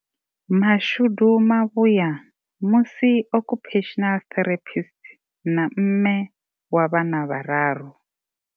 Mashudu mavhuya, musi occupational therapist na mme wa vhana vhararu.